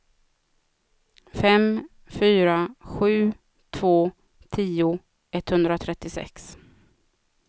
fem fyra sju två tio etthundratrettiosex